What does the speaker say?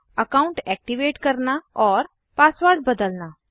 account activate करना और password बदलना